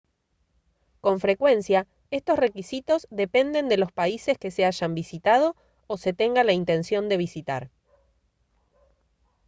con frecuencia estos requisitos dependen de los países que se hayan visitado o se tenga la intención de visitar